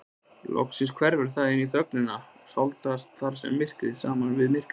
Loks hverfur hann inní þögnina og sáldrast þar saman við myrkrið.